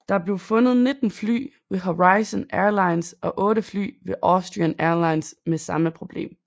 Der blev fundet 19 fly ved Horizon Airlines og 8 fly ved Austrian Airlines med samme problem